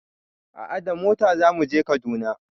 A'a da mota zamu je Kaduna